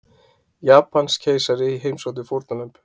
Japanskeisari heimsótti fórnarlömb